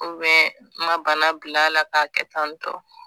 ma bana bila la k'a kɛ tan tɔ